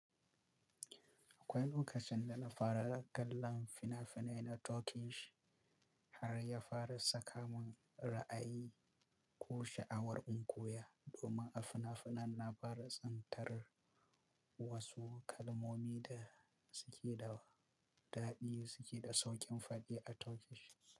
Akwai lokacin da na fara kallon fina-finai na Turkish har ya fara saka mun ra'ayi ko sha'awar in koya, domin a fina-finan na fara tsintar wasu kalmomi da suke da ɗadi suke da sauƙin faɗi a Turkish.